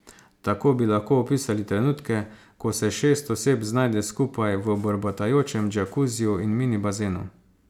Tako bi lahko opisali trenutke, ko se šest oseb znajde skupaj v brbotajočem džakuziju in mini bazenu.